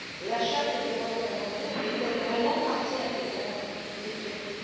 La charte des droits fondamentaux fait elle vraiment partie intégrante des traités?